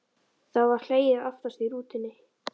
Þá var hlegið aftast í rútunni.